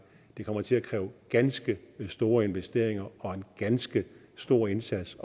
det kommer til at kræve ganske store investeringer og en ganske stor indsats